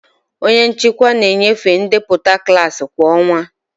Onye nchịkwa na-enyefe ndepụta klaasị kwa ọnwa.